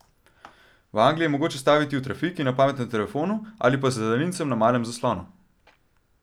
V Angliji je mogoče staviti v trafiki, na pametnem telefonu ali pa z daljincem na malem zaslonu.